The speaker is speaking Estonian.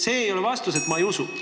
See ei ole vastus, et te ei usu seda.